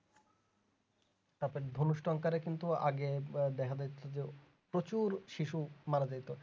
তারপর ধনুষ্টঙ্কারে কিন্তু আগে দেখা যাচ্ছে যে প্রচুর শিশু মারাযাইতেছে